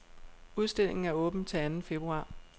Udstillingen er åben til anden februar.